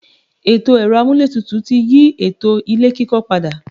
Ètò ẹ̀rọ-amúlétutù ti yí ètò ilé-kíkọ́ pada.